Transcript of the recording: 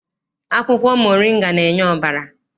Akwụkwọ moringa na-enye ọbara.